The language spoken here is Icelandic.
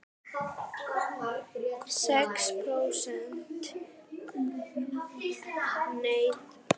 Vefaukandi sterar í töfluformi.